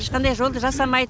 ешқандай жолды жасамайды